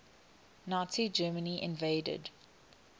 nazi germany invaded